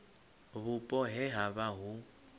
vhupo he ha vha hu